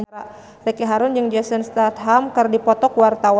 Ricky Harun jeung Jason Statham keur dipoto ku wartawan